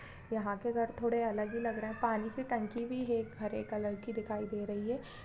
यहाँ के घर थोड़े अलग ही लग रहे हैं पानी की टंकी भी है एक हरे कलर की दिखाई दे रही है।